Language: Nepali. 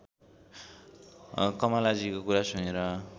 कमलाजीको कुरा सुनेर